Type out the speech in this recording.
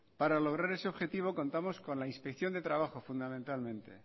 para lograr ese objetivo contamos con la inspección de trabajo fundamentalmente